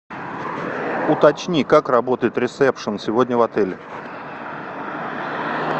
уточни как работает ресепшен сегодня в отеле